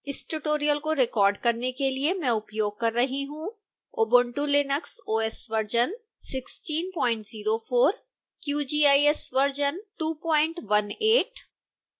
इस tutorial को record करने के लिए मैं उपयोग कर रही हूँ